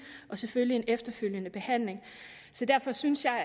og selvfølgelig efterfølgende behandling derfor synes jeg